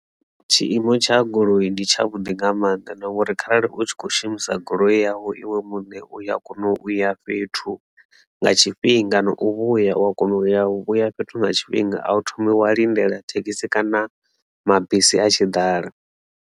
Tshiimo tsha goloi ndi tsha vhuḓi nga maanḓa na ngori kharali u tshi kho shumisa goloi yau iwe muṋe u ya kona u ya fhethu nga tshifhinga na u vhuya u ya kona u vhuya fhethu nga tshifhinga a wu thomi wa lindela thekhisi kana mabisi a tshi dala.